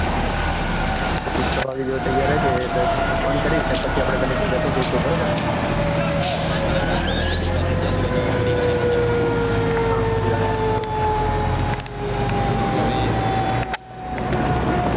તોતું છ વાગે તૈયાર રેજે હું તને ફોન કરીશ આપડે બંને ભેગા થઈ જાસો હા બરાબર આપડે ભેગા થઈને જાસો અને ઓડી ગાડી હા ઓડી ગાડી તો હવે મુકું